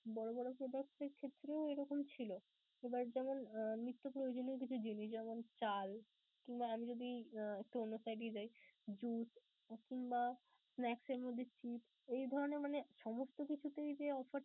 বড় বড় products এর ক্ষেত্রেও এরকম ছিলো. আবার যেমন নিত্য প্রয়োজনীয় কিছু জিনিস যেমনঃ চাল কিংবা আমি যদি আহ একটু অন্য side এ যাই juice কিংবা snacks এর মধ্যে chips এই ধরণের মানে সমস্ত কিছুতেই যে offer